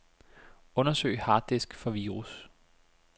Undersøg harddisk for virus.